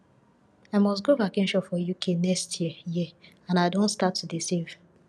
i must go vacation for uk next year year and i don start to dey save